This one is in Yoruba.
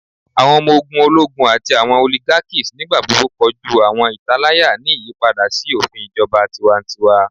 Awọn ọmọ ogun ologun ati awọn oligarchies nigbagbogbo koju awọn italaya ni iyipada si ofin ijọba tiwantiwa